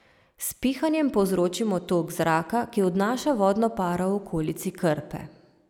S pihanjem povzročimo tok zraka, ki odnaša vodno paro v okolici krpe.